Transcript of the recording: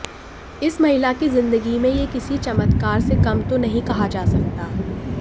इस महिला की जिंदगी में यह किसी चमत्कार से कम तो नहीं कहा जा सकता